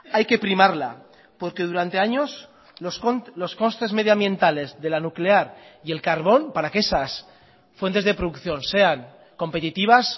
hay que primarla porque durante años los costes medioambientales de la nuclear y el carbón para que esas fuentes de producción sean competitivas